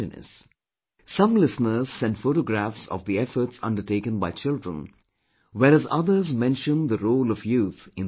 Some listeners send photo graphs of the efforts undertaken by children whereas others mention the role of youth in these efforts